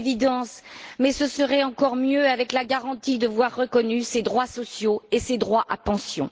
C'est une évidence, mais ce serait encore mieux avec la garantie de voir reconnus les droits sociaux et les droits à pension.